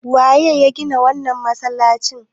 Waye ya gina wannan masalacin?